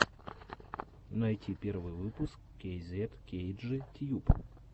найти первый выпуск кейзет кейджи тьюб